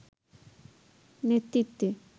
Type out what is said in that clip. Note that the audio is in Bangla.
নেতৃত্বে